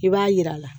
I b'a yir'a la